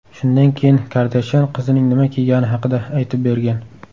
Shundan keyin Kardashyan qizining nima kiygani haqida aytib bergan.